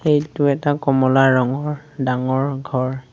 এইটো এটা কমলা ৰঙৰ ডাঙৰ ঘৰ।